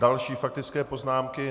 Další faktické poznámky.